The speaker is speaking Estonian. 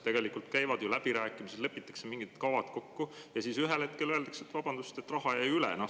Käivad läbirääkimised, lepitakse mingid kavad kokku ja siis ühel hetkel öeldakse, et vabandust, raha jäi üle.